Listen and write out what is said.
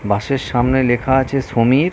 বাস -এর সামনে লেখা আছে সমীর ।